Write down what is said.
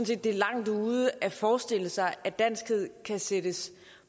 det er langt ude at forestille sig at danskhed kan sættes